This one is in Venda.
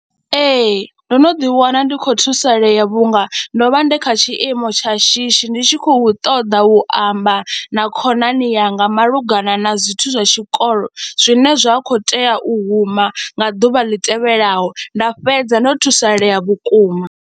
Ee, ndo no ḓiwana ndi khou thusalea vhunga ndo vha ndi kha tshiimo tsha shishi ndi tshi khou ṱoḓa u amba na khonani yanga malugana na zwithu zwa tshikolo zwine zwa khou tea u huma nga ḓuvha ḽi tevhelaho, nda fhedza ndo thusalea vhukuma.